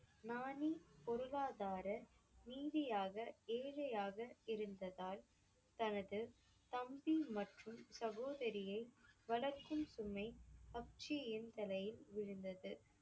பொருளாதார ரீதியாக ஏழையாக இருந்ததால் தனது தம்பி மற்றும் சகோதரியை வளர்க்கும் சுமை தலையில் விழுந்தது.